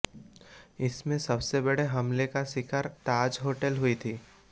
इसमें सबसे बड़े हमले का शिकार ताज होटल हुई थी